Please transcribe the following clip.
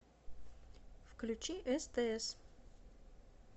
включи стс